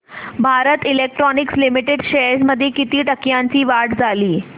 Bharat Electronics Limited shares मध्ये किती टक्क्यांची वाढ झाली